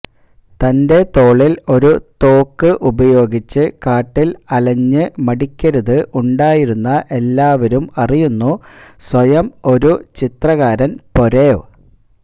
തന്റെ തോളിൽ ഒരു തോക്ക് ഉപയോഗിച്ച് കാട്ടിൽ അലഞ്ഞ് മടിക്കരുത് ഉണ്ടായിരുന്ന എല്ലാവരും അറിയുന്നു സ്വയം ഒരു ചിത്രകാരൻ പെരൊവ്